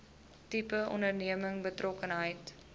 tipe onderneming betrokkenheid